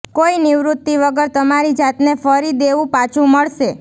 કોઈ નિવૃત્તિ વગર તમારી જાતને ફરી દેવું પાછું મળશે